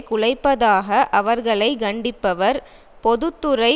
குலைப்பதாக அவர்களை கண்டிப்பவர் பொது துறை